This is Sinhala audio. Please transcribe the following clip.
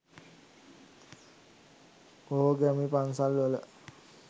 බොහෝ ගැමි පන්සල්වල